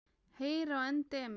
Heyr á endemi!